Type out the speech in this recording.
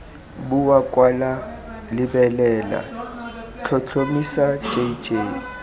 bua kwala lebelela tlhotlhomisa jj